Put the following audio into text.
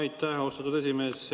Aitäh, austatud esimees!